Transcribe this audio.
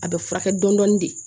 A bɛ furakɛ dɔɔnin de